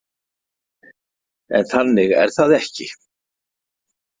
En þannig er það ekki.